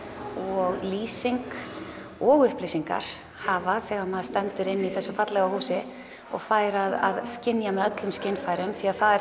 og lýsing og upplýsingar hafa þegar maður stendur inni í þessu fallega húsi og fær að skynja með öllum skynfærum því það er